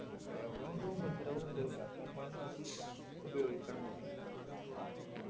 ഉപയോഗുണ്ട് ഉപദ്രവമുണ്ട് അതൊക്കെ നമ്മള് നോക്കി ഉപയോഗിക്കണം ന്നുള്ളൂ